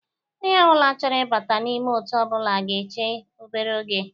Onye ọbụla chọrọ ịbata n'ime otu ọbụla ga-eche obere oge